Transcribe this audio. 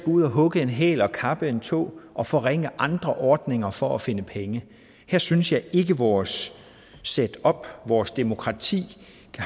ud at hugge en hæl og kappe en tå og forringe andre ordninger for at finde penge her synes jeg ikke vores setup og vores demokrati